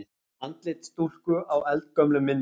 Andlit stúlku á eldgömlum myndum.